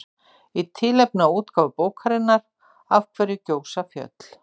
Í tilefni af útgáfu bókarinnar Af hverju gjósa fjöll?